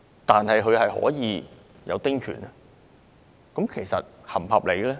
但是，他們可以有丁權，這是否合理呢？